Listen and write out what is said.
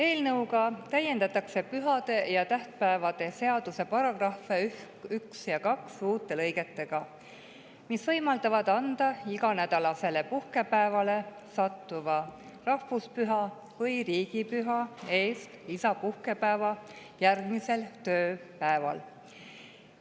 Eelnõuga täiendatakse pühade ja tähtpäevade seaduse § 1 ja 2 uute lõigetega, mis võimaldavad anda lisapuhkepäeva iganädalasele puhkepäevale sattuva rahvuspüha või riigipüha eest järgmisel tööpäeval.